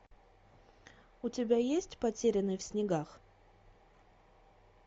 у тебя есть потерянный в снегах